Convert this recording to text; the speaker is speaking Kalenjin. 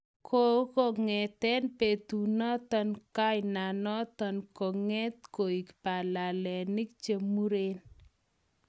Ko ngeten betu noton kainanoton konget koik balalenik chemuren